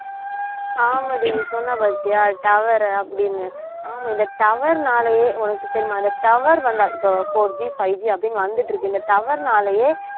ஆமாடி நீ சொன்ன பார்த்தியா tower அப்படின்னு ஆமா இந்த tower னாலேயே உனக்கு தெரியுமா அந்த tower வந்தால் இப்ப 4G 5G அப்படின்னு வந்துட்டு இருக்கு இந்த tower னாலயே